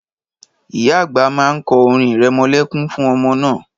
Ìyá àgbà má ń kọ́ orin irẹmọlẹ́kún fún ọmọ náà